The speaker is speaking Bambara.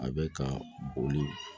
A bɛ ka boli